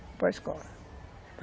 Para escola.